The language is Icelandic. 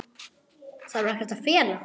Þarf ekkert að fela.